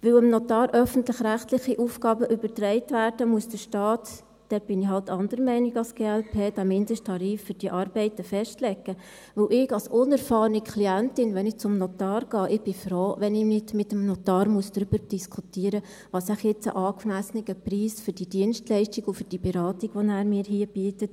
Weil dem Notar öffentlich-rechtliche Aufgaben übertragen werden, muss der Staat – da bin ich halt anderer Meinung als die glp – den Mindesttarif für diese Arbeiten festlegen, weil ich als unerfahrene Klientin, wenn ich zum Notar gehe, froh bin, wenn ich nicht mit dem Notar darüber diskutieren muss, was jetzt wohl ein angemessener Preis für die Dienstleistung und für die Beratung ist, die er mir hier bietet.